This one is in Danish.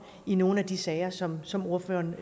i nogle af de sager som som ordføreren